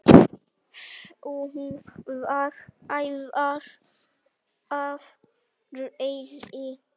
Hún var æf af reiði.